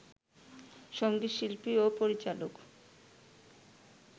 সংগীত শিল্পী ও পরিচালক